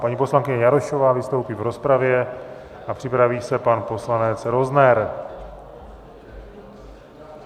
Paní poslankyně Jarošová vystoupí v rozpravě a připraví se pan poslanec Rozner.